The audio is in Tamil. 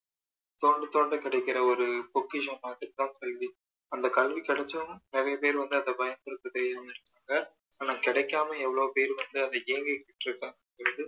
தோண்ட தோண்ட கிடைக்கிற ஒரு பொக்கிஷம் மாதிரி தான் கல்வி அந்த கல்வி கிடைச்சாலும் நிறைய பேரு வந்து அதை பயன்படுத்த தெரியாம இருப்பாங்க ஆனால் கிடைக்காம எவ்வளோ பேரு வந்து அதை ஏங்கிட்டு இருக்காங்க